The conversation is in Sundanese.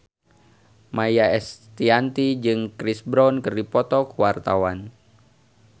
Maia Estianty jeung Chris Brown keur dipoto ku wartawan